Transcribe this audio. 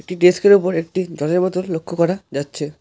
ডেস্কের ওপর একটি জলের বোতল লক্ষ করা যাচ্ছে।